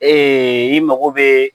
i mago bɛ.